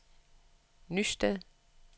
Nysted